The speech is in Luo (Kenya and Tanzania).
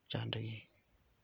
ochandgi.